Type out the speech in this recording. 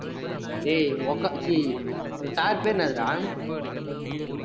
டேய் உங்அக்கா ச்சீ உங்க sir பேர் என்னதுடா